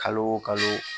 Kalo o kalo